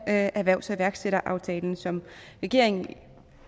af erhvervs og iværksætteraftalen som regeringen